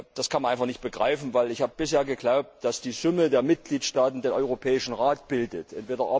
Das kann man einfach nicht begreifen! Ich habe bisher geglaubt, dass die Summe der Mitgliedstaaten den Europäischen Rat ausmacht.